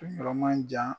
Kun yɔrɔ man jan